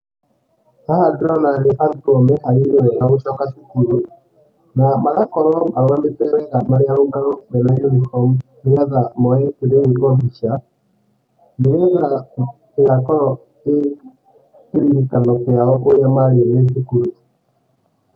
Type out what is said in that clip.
Haha ndĩrona nĩ arũtwo meharĩirie wega gũcoka cukuru, na magakorwo marũgamĩte wega marĩ arũngarũ, mena uniform, nĩgetha moye mbica, nĩgetha ĩgakorũo ĩ kĩririkano kĩao ũrĩa marĩ me thukuru.